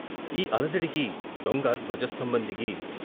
ఈ అలజడికి దొంగ ధ్వజ స్తంభం దిగి